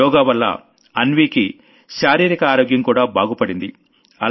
యోగావల్ల అన్వీకి physical health కూడా బాగుపడింది